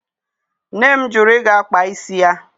Nne m jụrụ ịga kpaa isi ya.